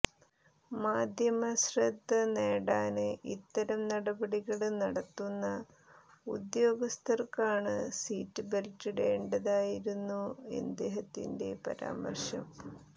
മാധ്യമശ്രദ്ധ നേടാന് ഇത്തരം നടപടികള് നടത്തുന്ന ഉദ്യോഗസ്ഥര്ക്കാണ് സീറ്റ് ബെല്റ്റിടേണ്ടതെന്നായിരുന്നു അദ്ദേഹത്തിന്റെ പരാമര്ശം